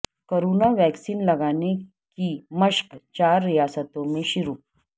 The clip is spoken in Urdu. کورونا ویکسین لگانے کی مشق چار ریاستوں میں شروع